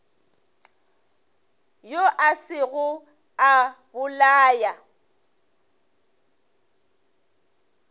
yo a sego a bolaya